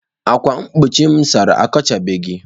ákwà mgbochi m sachara, akpọchabeghị.